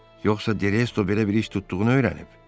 Yoxsa De Resto belə bir iş tutduğunu öyrənib?